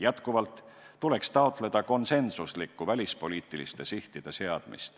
Jätkuvalt tuleks taotleda konsensuslikku välispoliitiliste sihtide seadmist.